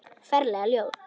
Ferlega ljót.